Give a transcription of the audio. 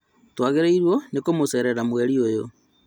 Twagĩrĩirwo nĩ kũmũcerera mweri ũyũ